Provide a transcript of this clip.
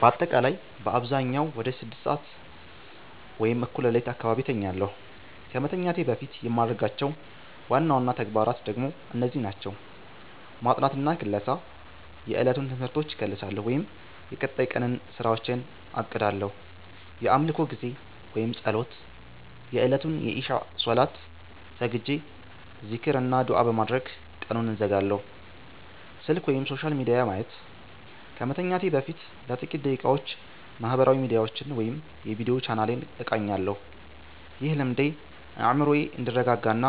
ባጠቃላይ በአብዛኛው ወደ 6:00 ሰዓት (እኩለ ሌሊት) አካባቢ እተኛለሁ። ከመተኛቴ በፊት የማደርጋቸው ዋና ዋና ተግባራት ደግሞ እነዚህ ናቸው፦ ማጥናትና ክለሳ፦ የዕለቱን ትምህርቶች እከልሳለሁ ወይም የቀጣይ ቀንን ስራዎች አቅዳለሁ። የአምልኮ ጊዜ (ፀሎት)፦ የእለቱን የኢሻእ ሰላት ሰግጄ፣ ዚክር እና ዱዓ በማድረግ ቀኑን እዘጋለሁ። ስልክ/ሶሻል ሚዲያ ማየት፦ ከመተኛቴ በፊት ለጥቂት ደቂቃዎች ማህበራዊ ሚዲያዎችን ወይም የቪዲዮ ቻናሌን እቃኛለሁ። ይህ ልምዴ አእምሮዬ እንዲረጋጋና